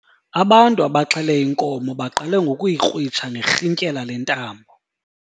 Ubantu abaxhele inkomo baqale ngokuyikrwitsha ngerhintyela lentambo.